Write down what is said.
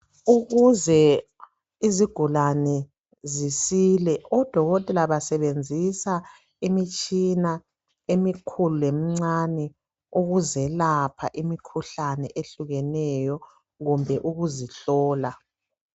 Ukuze izigulane zisile ,odokotela basebenzisa imitshina emikhulu lemincane ukuzelapha imikhuhlane ehlukeneyo kumbe ukuzihlola .